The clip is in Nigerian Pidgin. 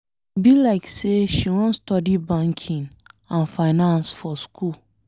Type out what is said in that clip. E be like say she wan study banking and finance for school.